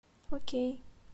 окей